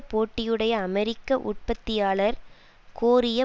போட்டியுடைய அமெரிக்க உற்பத்தியாளர் கோரிய